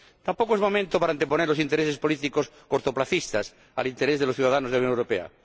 Tampoco es momento para anteponer los intereses políticos cortoplacistas al interés de los ciudadanos de la Unión Europea.